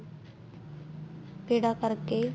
ਪੇੜਾ ਕਰਕੇ